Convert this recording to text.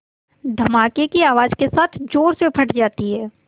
धमाके की आवाज़ के साथ ज़ोर से फट जाती है